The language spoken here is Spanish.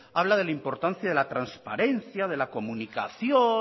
habla de la importancia de la transparencia de la comunicación